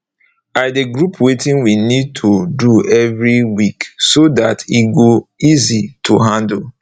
i de group wetin we need to do every week so dat e go easy to handle